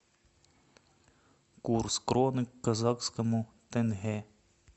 курс кроны к казахскому тенге